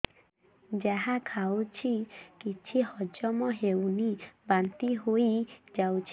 ଯାହା ଖାଉଛି କିଛି ହଜମ ହେଉନି ବାନ୍ତି ହୋଇଯାଉଛି